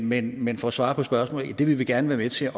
men men for at svare på spørgsmålet det vil vi gerne være med til